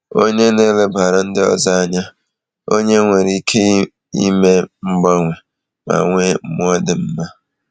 Onye na-elebara ndị ọzọ anya, onye nwere ike ime mgbanwe, ma nwee mmụọ dị mma.